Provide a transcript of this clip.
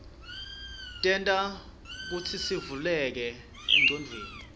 tenta kutsisivuleke engcondweni